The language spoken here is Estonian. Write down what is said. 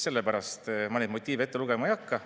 Ma neid motiive ette lugema ei hakka.